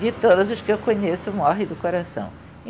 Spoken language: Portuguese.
De todas as que eu conheço morrem do coração.